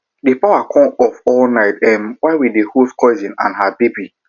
the power con go off all night while we dey host cousin and her baby